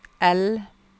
L